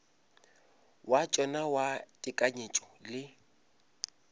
wa tšona wa tekanyetšo le